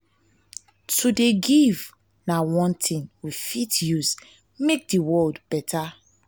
to dey give na one tin we fit use make di world beta.